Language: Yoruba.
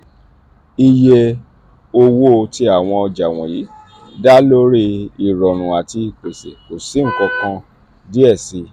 iye owo ti awọn ọja wọnyi da lori irọrun ati ipese ko si nkankan diẹ sii.